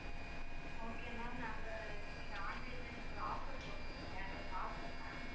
okay ma'am நாங்க நீங்க online ல நீங்க ஒரு offer போட்டிருந்தீங்க அத பார்த்தோம் ma'am